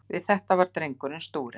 Við þetta varð drengurinn stúrinn.